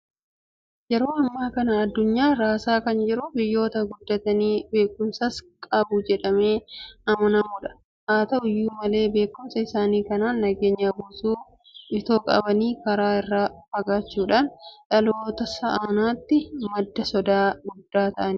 Yeroo ammaa kana addunyaa raasaa kan jiru biyyoota guddatanii beekumsas qabu jedhamee amanamudha. Haata'u iyyuu malee beekumsa isaanii kanaan nageenya buusuu itoo qabanii kana irraa fagaachuudhaan dhaloota si'anaatiif madda sodaa guddaa ta'aa jiru.